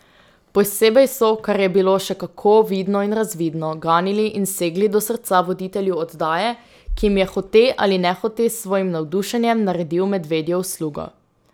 Posebej so, kar je bilo še kako vidno in razvidno, ganili in segli do srca voditelju oddaje, ki jim je hote ali nehote s svojim navdušenjem naredil medvedjo uslugo.